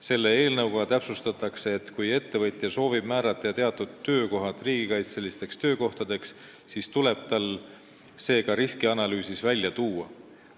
Selle eelnõuga täpsustatakse, et kui ettevõtja soovib määrata teatud töökohad riigikaitselisteks töökohtadeks, siis tuleb tal see ka riskianalüüsis välja tuua.